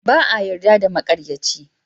Ba a yarda da maƙaryaci.